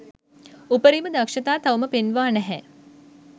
උපරිම දක්ෂතා තවම පෙන්වා නැහැ